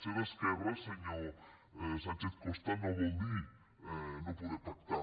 ser d’esquerres senyor sánchez costa no vol dir no poder pactar